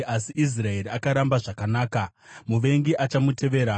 Asi Israeri akaramba zvakanaka; muvengi achamutevera.